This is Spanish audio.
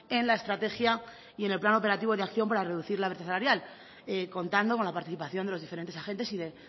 en la estrategia y en el plan operativo de acción para reducir la brecha salarial contando con la participación de los diferentes agentes y de